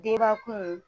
Denba kun